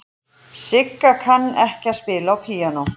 Sigga kann ekki að spila á píanó.